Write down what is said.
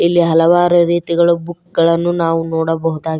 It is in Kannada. ಇಲ್ಲಿ ಹಲವಾರು ರೀತಿಗಳು ಬುಕ್ ಗಳನ್ನು ನಾವು ನೋಡಬಹುದಾ--